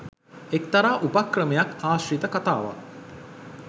එක්තරා උපක්‍රමයක් ආශ්‍රිත කතාවක්.